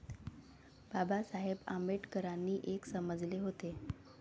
बाबासाहेब आंबेडकरांनी एक समजले होते.